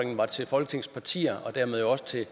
var til folketingets partier og dermed jo også til